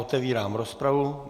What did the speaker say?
Otevírám rozpravu.